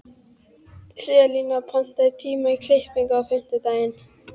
Selina, pantaðu tíma í klippingu á fimmtudaginn.